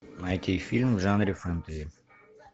найти фильм в жанре фэнтези